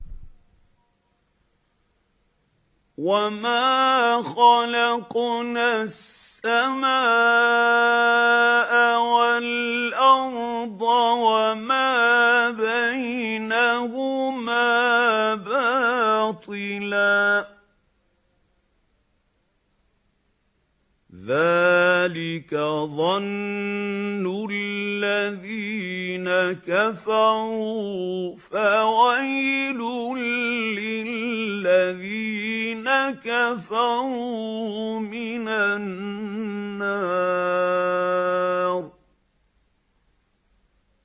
وَمَا خَلَقْنَا السَّمَاءَ وَالْأَرْضَ وَمَا بَيْنَهُمَا بَاطِلًا ۚ ذَٰلِكَ ظَنُّ الَّذِينَ كَفَرُوا ۚ فَوَيْلٌ لِّلَّذِينَ كَفَرُوا مِنَ النَّارِ